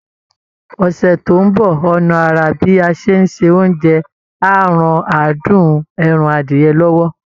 Ọ̀sẹ̀ tó ń bọ̀, ọ̀nà àrà bí a ṣe ń ṣe oúnjẹ á ran adùn ẹran adìyẹ lọ́wọ́